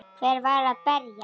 Hver var að berja?